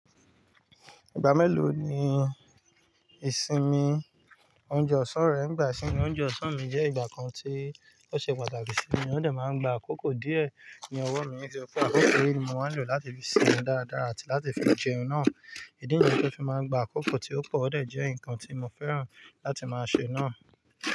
Ìgbà mélòó ni ìsinmi oúnjẹ ọ̀sán rẹ ń gba sí inú? Oúnjẹ ọ̀sán mi jẹ́ ìgbà kan tí ó ṣe pàtàkì sí mi, ó dẹ̀ máa ń gba àkókò díẹ̀ ní ọwọ́ mi. Nítori wi pe àkókò ni mo máa ń lò láti fi sinmi dáadáa àti láti fi jẹun náà. Ìdí nìyẹn ti mo fi máa ń gba àkókò tí ó pọ̀, ó dẹ̀ jẹ́ nǹkan tí mo fẹ́ràn láti máa ṣe náà.